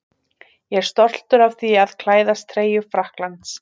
Ég er stoltur af því að klæðast treyju Frakklands.